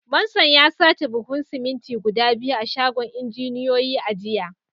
Manson ya sace buhunan siminti guda biyu a shagon injiniyoyi a jiya